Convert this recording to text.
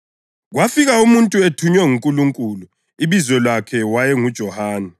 Kwafika umuntu ethunywe nguNkulunkulu, ibizo lakhe wayenguJohane.